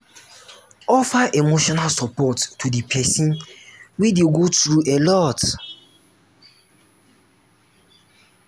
offer emotional support to di person wey dey go through alot